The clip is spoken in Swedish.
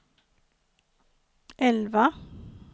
elva